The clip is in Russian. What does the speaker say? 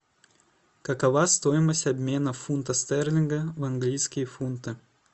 какова стоимость обмена фунта стерлинга в английские фунты